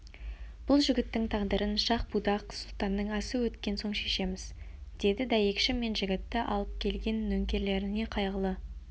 бұл жігіттің тағдырын шах-будақ сұлтанның асы өткен соң шешеміз деді дәйекші мен жігітті алып келген нөкерлеріне қайғылы